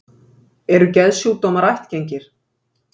Eru geðsjúkdómar ættgengir?